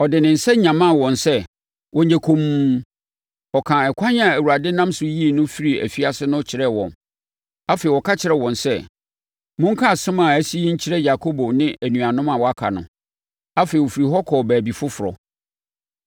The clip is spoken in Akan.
Ɔde ne nsa nyamaa wɔn sɛ wɔnyɛ komm. Ɔkaa ɛkwan a Awurade nam so yii no firii afiase no kyerɛɛ wɔn. Afei, ɔka kyerɛɛ wɔn sɛ, “Monka asɛm a asi yi nkyerɛ Yakobo ne anuanom a wɔaka no.” Afei, ɔfirii hɔ kɔɔ baabi foforɔ.